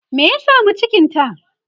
me ya samu cikinta?